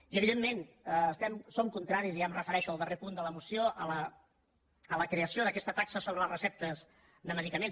i evidentment som contraris i ja em refereixo al darrer punt de la moció a la creació d’aquesta taxa sobre les receptes de medicaments